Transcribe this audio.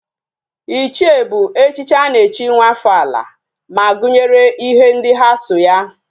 Ichie bu echichi ana echi nwa afo ala, ma gunyere ihe ndi ha so ya